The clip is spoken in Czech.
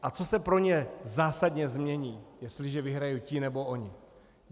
A co se pro ně zásadně změní, jestliže vyhrají ti nebo oni?